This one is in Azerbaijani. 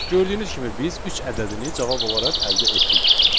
Gördüyünüz kimi biz üç ədədini cavab olaraq əldə etdik.